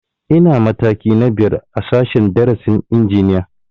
Ina mataki na biyar a sashen darasin injiniya